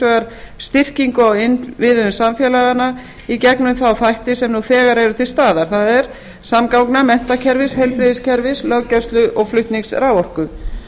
vegar styrkingu á innviðum samfélaganna í gegnum þá þætti sem nú þegar eru til staðar það er samgangna menntakerfis heilbrigðiskerfis löggæslu og flutnings raforku